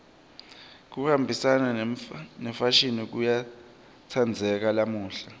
kuhambisana nemfashini kuyatsandzeka lamuhla